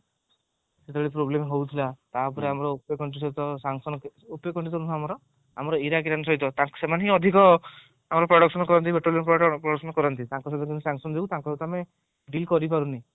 problem ହଉଥିଲା ତାପରେ ଆମର ଆମର ଇରାକ ଇରାନ ସହିତ ସେମାନେ ତ ଅଧିକ production କରନ୍ତି production କରନ୍ତି ତାଙ୍କ ସାହିର sanction ଯୋଗୁ ତାଙ୍କ ସହିତ ଆମେ deal କରିପାରୁନେ